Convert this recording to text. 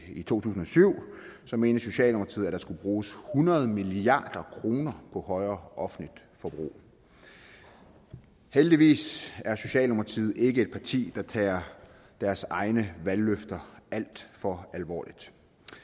i to tusind og syv så mente socialdemokratiet der at der skulle bruges hundrede milliard kroner på et højere offentligt forbrug heldigvis er socialdemokratiet ikke et parti der tager deres egne valgløfter alt for alvorligt